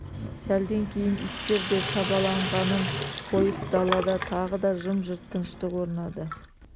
сәлден кейін иттер де шабаланғанын қойып далада тағы да жым-жырт тыныштық орнады